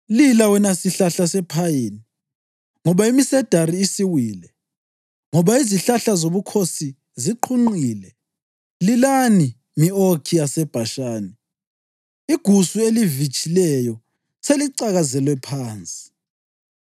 Lila, wena sihlahla sephayini, ngoba imisedari isiwile; ngoba izihlahla zobukhosi ziqhunqile! Lilani, mi-okhi yaseBhashani; igusu elivitshileyo selicakazelwe phansi!